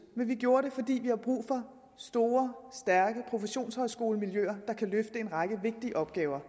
men vi gjorde det fordi vi har brug for store stærke professionshøjskolemiljøer der kan løfte en række vigtige opgaver